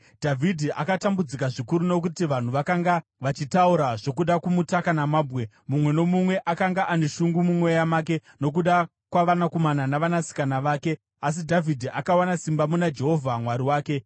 Dhavhidhi akatambudzika zvikuru nokuti vanhu vakanga vachitaura zvokuda kumutaka namabwe; mumwe nomumwe akanga ane shungu mumweya make nokuda kwavanakomana navanasikana vake. Asi Dhavhidhi akawana simba muna Jehovha Mwari wake.